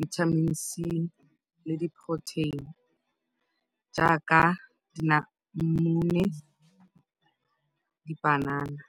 Vitamin C le di-protein jaaka dinamune, dipanana.